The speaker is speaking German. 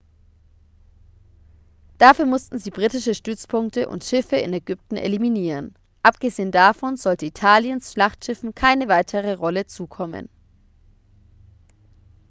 dafür mussten sie britische stützpunkte und schiffe in ägypten eliminieren abgesehen davon sollte italiens schlachtschiffen keine weitere rolle zukommen